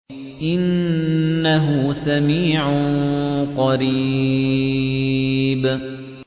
قُلْ إِن ضَلَلْتُ فَإِنَّمَا أَضِلُّ عَلَىٰ نَفْسِي ۖ وَإِنِ اهْتَدَيْتُ فَبِمَا يُوحِي إِلَيَّ رَبِّي ۚ إِنَّهُ سَمِيعٌ قَرِيبٌ